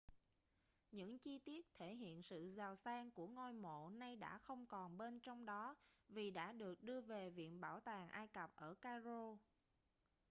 những chi tiết thể hiện sự giàu sang của ngôi mộ nay đã không còn bên trong đó vì đã được đưa về viện bảo tàng ai cập ở cairo